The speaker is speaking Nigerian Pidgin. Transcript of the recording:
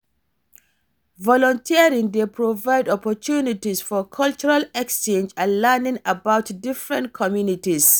Volunteering dey provide opportunties for cultural exchange and learning about different communities.